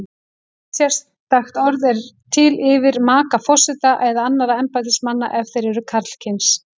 Ekkert sérstakt orð er til yfir maka forseta eða annarra embættismanna ef þeir eru karlkyns.